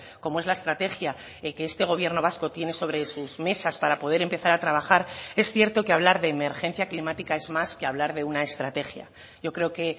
como es la estrategia que este gobierno vasco tiene sobre sus mesas para poder empezar a trabajar es cierto que hablar de emergencia climática es más que hablar de una estrategia yo creo que